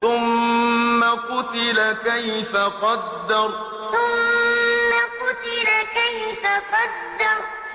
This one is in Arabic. ثُمَّ قُتِلَ كَيْفَ قَدَّرَ ثُمَّ قُتِلَ كَيْفَ قَدَّرَ